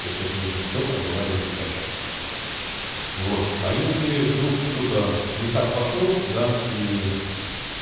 то есть это нужно все проговаривать заказчику вот а если вдруг что-то не так пошло да и ээ